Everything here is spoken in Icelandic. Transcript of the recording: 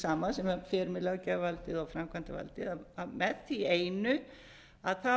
sama sem fer með löggjafarvaldið og framkvæmdavaldið með því einu að